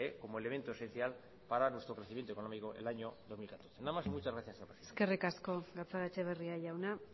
como elemento esencial para nuestros crecimiento económico en el año dos mil catorce nada más y muchas gracias eskerrik asko gatzagaetxebarria jauna